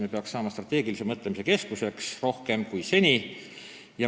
Me peaksime saama senisest rohkem strateegilise mõtlemise keskuseks.